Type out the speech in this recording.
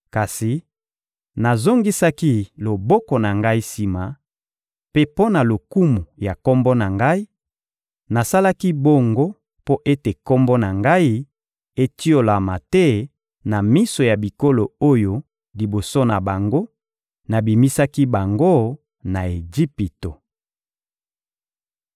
Kasi nazongisaki loboko na Ngai sima, mpe mpo na lokumu ya Kombo na Ngai, nasalaki bongo mpo ete Kombo na Ngai etiolama te na miso ya bikolo oyo liboso na bango, nabimisaki bango na Ejipito.